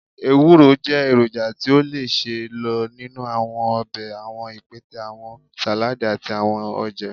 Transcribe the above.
ewuro jẹ eroja ti o le ṣee lo ninu awọn ọbẹ, awọn ipẹtẹ, awọn saladi, ati awọn oje.